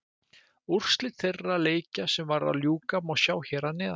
Úrslit þeirra leikja sem var að ljúka má sjá hér að neðan.